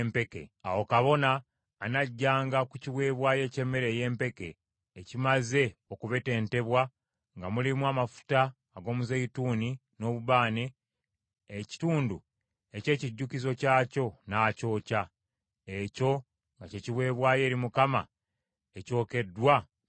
Awo kabona anaggyanga ku kiweebwayo eky’emmere ey’empeke, ekimaze okubetentebwa nga mulimu amafuta ag’omuzeeyituuni n’obubaane, ekitundu eky’ekijjukizo kyakyo, n’akyokya; ekyo nga kye kiweebwayo eri Mukama ekyokeddwa mu muliro.